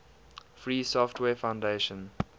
free software foundation